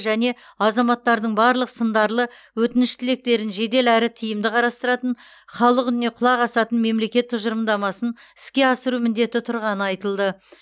және азаматтардың барлық сындарлы өтініш тілектерін жедел әрі тиімді қарастыратын халық үніне құлақ асатын мемлекет тұжырымдамасын іске асыру міндеті тұрғаны айтылды